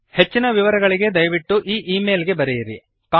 ಹೆಚ್ಚಿನ ವಿವರಗಳಿಗೆ ದಯವಿಟ್ಟು ಈ ಈ ಮೇಲ್ ಗೆ ಬರೆಯಿರಿ